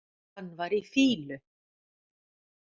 Hann var í fýlu.